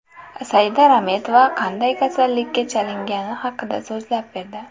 Saida Rametova qanday kasallikka chalingani haqida so‘zlab berdi .